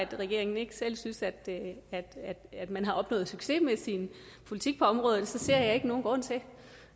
regeringen ikke selv synes at man har opnået succes med sin politik på området ser jeg ikke nogen grund til